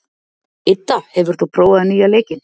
Idda, hefur þú prófað nýja leikinn?